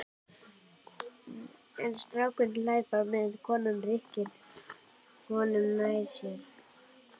En strákurinn hlær bara meðan konan rykkir honum nær sér.